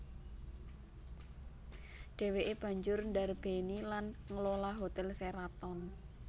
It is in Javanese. Dhèwèké banjur ndarbèni lan nglola Hotel Sheraton